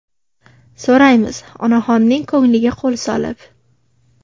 so‘raymiz onaxonning ko‘ngliga qo‘l solib.